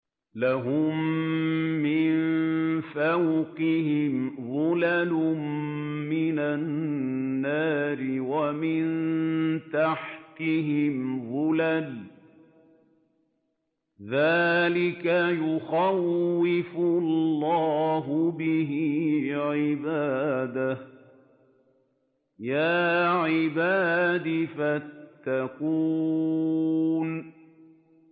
لَهُم مِّن فَوْقِهِمْ ظُلَلٌ مِّنَ النَّارِ وَمِن تَحْتِهِمْ ظُلَلٌ ۚ ذَٰلِكَ يُخَوِّفُ اللَّهُ بِهِ عِبَادَهُ ۚ يَا عِبَادِ فَاتَّقُونِ